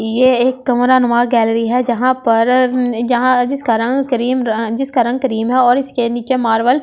ये एक कमरानुमा गैलरी है जहां पर अब ये ऊं जिसका रंग क्रीम जिसका रंग क्रीम है और इसके नीचे मारबल ए--